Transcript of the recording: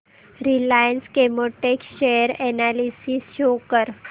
Reliance Chemotex share analysis show कर